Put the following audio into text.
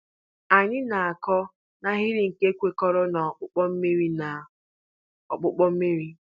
Anyị na-akụ n'ahịrị nke kwekọrọ na ọkpụkpọ mmiri. na ọkpụkpọ mmiri.